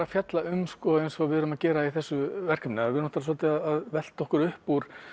að fjalla um eins og við erum að gera í þessu verkefni við erum svolítið að velta okkur upp úr